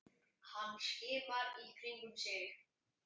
Hann skimar í kringum sig.